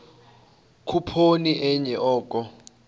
khuphoni enye oko